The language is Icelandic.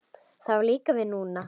Það á líka við núna.